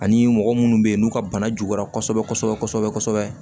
Ani mɔgɔ munnu be yen n'u ka bana juguyara kɔsɛbɛ kɔsɛbɛ kɔsɛbɛ